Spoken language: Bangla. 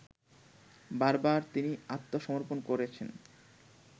বারবার তিনি আত্মসমর্পণ করেছেন